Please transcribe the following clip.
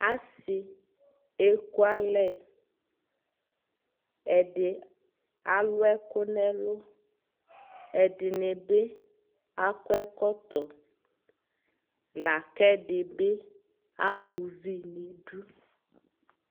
asii ɛkʋ alɛ, ɛdi alʋ ɛkʋ nʋ ɛlʋ, ɛdinibi akɔ ɛkɔtɔ lakʋ ɛdibi ama ʋvi nʋ idʋ